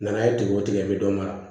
N'a ye tigɛ o tigɛ i bi dɔ mara